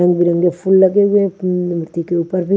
रंग बिरंगे फूल लगे हुए हैं मूर्ति के ऊपर भी --